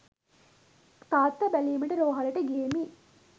තාත්තා බැලීමට රෝහලට ගියෙමි